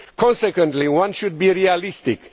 Consequently, one should be realistic.